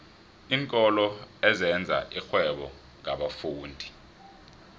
iinkolo ezenza irhwebo ngabafundi